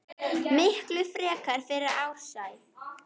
Miklu frekar fyrir Ársæl.